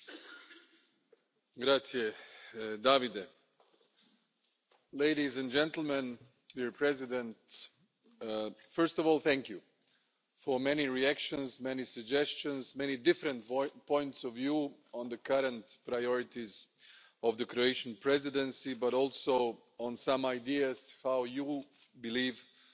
Mr President, first of all thank you for the many reactions, many suggestions, many different points of view on the current priorities of the Croatian Presidency, but also on some ideas how you believe we should tackle the most important political and legislative dossiers which are on the agenda.